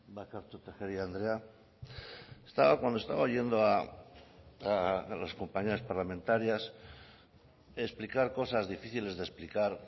barkatu tejeria andrea cuando estaba oyendo a las compañeras parlamentarias explicar cosas difíciles de explicar